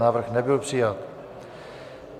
Návrh nebyl přijat.